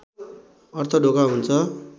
अर्थ ढोका हुन्छ